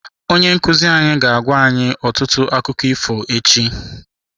Onye nkuzi anyị ga-agwa anyị ọtụtụ akụkọ ifo echi.